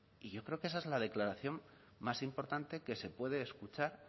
yo creo que esa es la declaración más importante que se puede escuchar